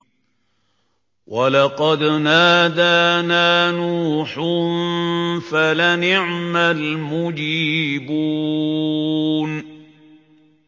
وَلَقَدْ نَادَانَا نُوحٌ فَلَنِعْمَ الْمُجِيبُونَ